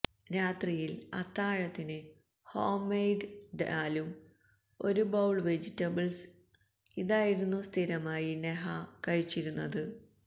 രാത്രിയില് അത്താഴത്തിന് home made ഡാലും ഒരു പൌള് വെജിറ്റബിള്സ് ഇതായിരുന്നു സ്ഥിരമായി നെഹാ കഴിച്ചിരുന്നത്